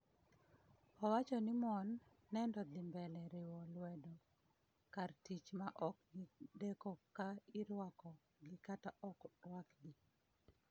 owacho ni mon" nedo dhi mbele riwo lwedo" kar tich" ma ok gideko ka irwako gi kata ok rwakgi.